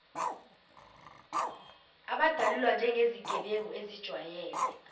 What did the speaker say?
abadalulwa njengezigebengu ezijwayele